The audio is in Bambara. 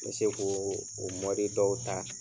Me se ko o mɔdi dɔw ta.